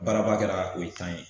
Baaraba kɛra o ye tan ye